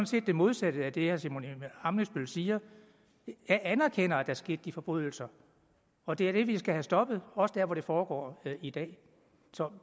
set det modsatte af det herre simon emil ammitzbøll siger jeg anerkender at der skete de forbrydelser og det er det vi skal have stoppet også dér hvor det foregår i dag